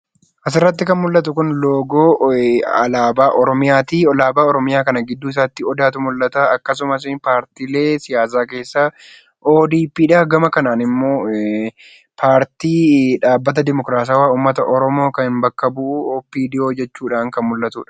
Asirrat kan mul'atu kun loogoo alaabaa oromiyaati. Alaabaa oromiyaa kana gidduu isaatti odaatu mul'ata. Akkasumas paartiilee siyaasaa keessaa ODP dha. Gama kanaan immoo paartii dhaabbata dimokiraatawaa uummata oromoo kan bakka bu'u ODP jechuudhaan kan mul'atudha.